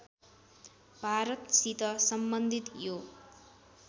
भारतसित सम्बन्धित यो